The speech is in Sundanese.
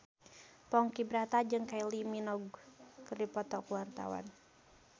Ponky Brata jeung Kylie Minogue keur dipoto ku wartawan